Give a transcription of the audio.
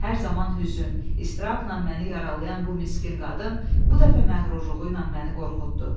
Hər zaman hüzün, istirabla məni yaralayan bu miskin qadın bu dəfə məğrurluğu ilə məni qorxutdu.